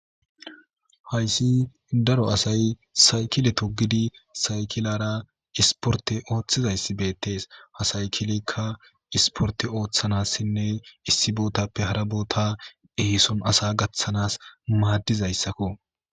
Hayssi daro asay sayikele togidi sakilara isporte oththizaysi betes. Ha saykileyka isporte oththanasnne issi botappe hara bota esson asa gaththanas maddizaysako.